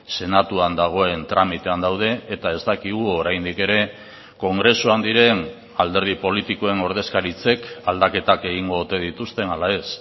senatuan dagoen tramitean daude eta ez dakigu oraindik ere kongresuan diren alderdi politikoen ordezkaritzek aldaketak egingo ote dituzten ala ez